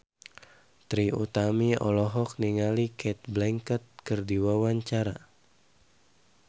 Trie Utami olohok ningali Cate Blanchett keur diwawancara